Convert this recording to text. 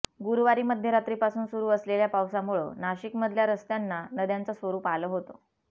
गुरुवारी मध्यरात्रीपासून सुरु असलेल्या पावसामुळं नाशिकमधल्या रस्त्यांना नद्यांच स्वरुप आलं होतं